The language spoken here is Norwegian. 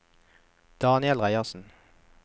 Daniel Reiersen